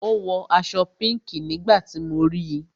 Ó wọ aṣọ pinki nígbà tí mo ríi